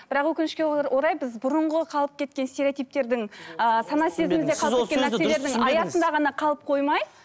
бірақ өкінішке орай біз бұрынғы қалып кеткен стереотиптердің ііі сіз ол сөзді дұрыс түсінбедіңіз аясында ғана қалып қоймай